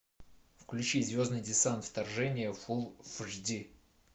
включи звездный десант вторжение фулл эйч ди